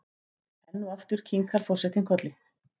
Enn og aftur kinkar forsetinn kolli.